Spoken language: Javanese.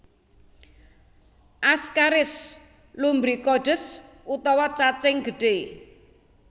Ascaris lumbricoides utawa cacing gedhé